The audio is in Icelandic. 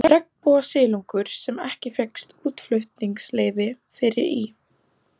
Regnbogasilungur, sem ekki fékkst útflutningsleyfi fyrir, í